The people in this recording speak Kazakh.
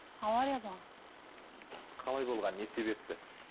авария болған қалай болған не себепті